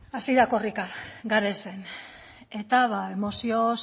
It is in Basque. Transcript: da hitza beno hasi da korrika garesen eta mozioz